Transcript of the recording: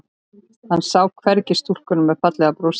Hann sá hvergi stúlkuna með fallega brosið.